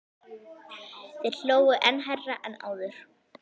Þeir hlógu enn hærra en áður.